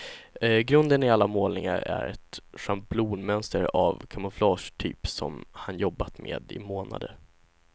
Grunden i alla målningar är ett schablonmönster av kamouflagetyp som han jobbat med i månader.